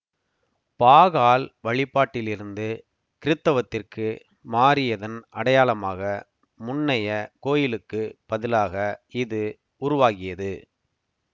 பாகால் வழிபாட்டிலிருந்து கிறித்தவத்திற்கு மாறியதன் அடையாளமாக முன்னைய கோயிலுக்கு பதிலாக இது உருவாகியது